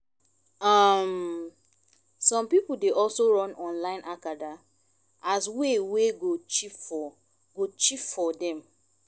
um som pipol dey also run online acada as way wey go cheap for go cheap for dem